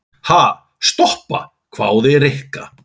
Ha, stoppa? hváði Rikka.